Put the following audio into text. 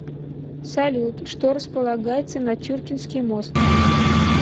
салют что располагается над чуркинский мост